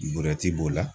b'o la